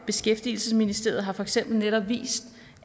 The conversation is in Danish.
beskæftigelsesministeriet har for eksempel netop vist